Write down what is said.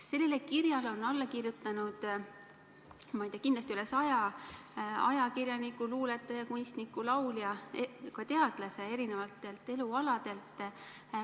" Sellele kirjale on alla kirjutanud, ma ei tea, kindlasti üle saja ajakirjaniku, luuletaja, kunstniku, laulja ja ka eri elualadelt pärit teadlase.